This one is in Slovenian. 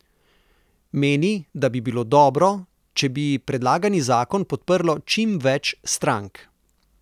Meni, da bi bilo dobro, če bi predlagani zakon podprlo čim več strank.